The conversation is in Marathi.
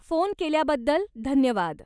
फोन केल्याबद्दल धन्यवाद.